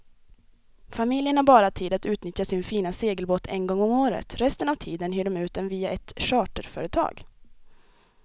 Familjen har bara tid att utnyttja sin fina segelbåt en gång om året, resten av tiden hyr de ut den via ett charterföretag.